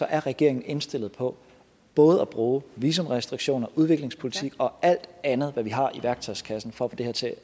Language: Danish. er regeringen indstillet på både at bruge visumrestriktioner udviklingspolitik og alt andet vi har i værktøjskassen for at få det her til